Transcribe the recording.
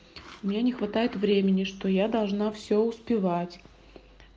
меня не хватает времени что я должна все успевать